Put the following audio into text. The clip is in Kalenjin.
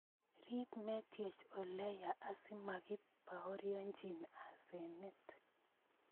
rip metiech oleya asimakibaurienchi asanet